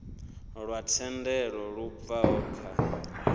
lwa thendelo lu bvaho kha